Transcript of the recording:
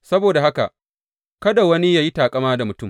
Saboda haka, kada wani yă yi taƙama da mutum!